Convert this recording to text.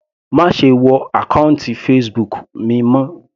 Má ṣe wọ àkọ́ùntì Facebook mi mọ́.